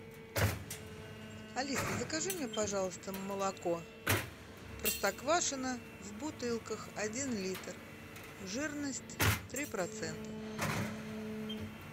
алиса закажи мне пожалуйста молоко простоквашино в бутылках один литр жирность три процента